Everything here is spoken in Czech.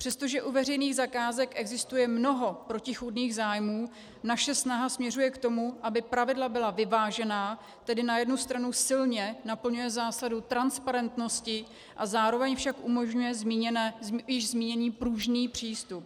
Přestože u veřejných zakázek existuje mnoho protichůdných zájmů, naše snaha směřuje k tomu, aby pravidla byla vyvážená, tedy na jednu stranu silně naplňuje zásadu transparentnosti a zároveň však umožňuje již zmíněný pružný přístup.